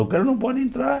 O cara não pode entrar.